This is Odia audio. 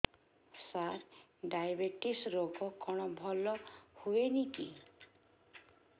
ସାର ଡାଏବେଟିସ ରୋଗ କଣ ଭଲ ହୁଏନି କି